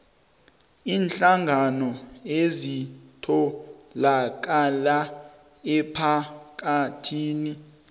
iinhlangano ezitholakala emphakathini